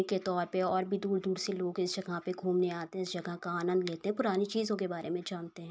के तौ पे और भी दूर-दूर से लोग इस जगह पे घूमने आते हैं इस जगह का आनन्द लेते हैं। पुरानी चीजों के बारे मे जानते है।